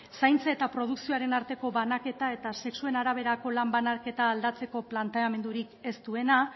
zaintza eta produkzioaren arteko banaketa eta sexu araberako lan banaketa aldatzeko planteamendurik ez duena